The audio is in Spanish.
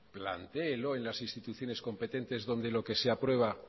plantéelo en las instituciones competentes donde lo que se aprueba